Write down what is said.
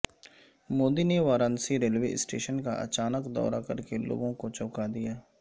مودی نے Varanasi railway station کااچانک دورہ کرکےلوگوں کوچونکا دیا